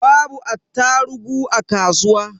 Babu attarugu a kasuwa.